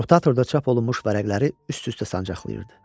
Rotatorda çap olunmuş vərəqləri üst-üstə sancaqlayırdı.